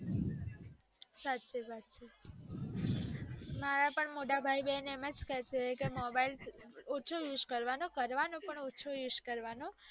સાચી વાત છે મારા પણ મોટા ભય બેન એમજ કે છે કે mobile ઓછો use કરવાનો, કરવાનો પણ ઓછુ use કરવાનું